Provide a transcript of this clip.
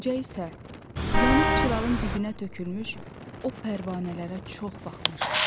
Qoca isə yanıb çırağın dibinə tökülmüş o pərvanələrə çox baxmışdı.